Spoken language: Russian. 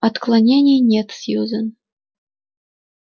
отклонений нет сьюзен